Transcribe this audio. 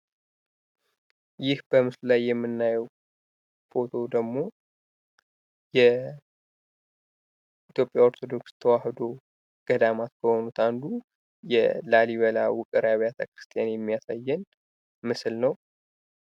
ይህ በምስሉ ላይ የምናየው ፎቶ ደግሞ በኢትዮጵያ ኦርቶዶክስ ተዋህዶ በሆኑት ገዳማት አንዱ የላሊበላ ውቅር አብያተ-ክርስቲያን ነው የሚያሳየን ምስል ነው።